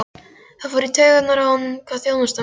Það fór í taugarnar á honum hvað þjónustan var hæg.